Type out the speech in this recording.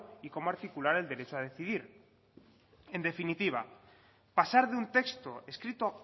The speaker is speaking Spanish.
y cómo articular el derecho a decidir en definitiva pasar de un texto escrito